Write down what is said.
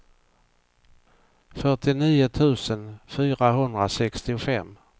fyrtionio tusen fyrahundrasextiofem